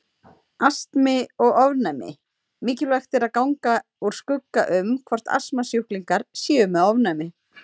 Astmi og ofnæmi Mikilvægt er að ganga úr skugga um hvort astmasjúklingar séu með ofnæmi.